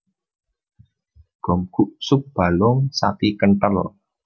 Gomguk sup balung sapi kenthel